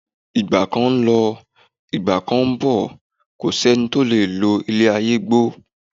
Ìgbà kan ń lọ, Ìgbà kán ń bọ̀, ẹnìkan ò lo ilé ayé gbó.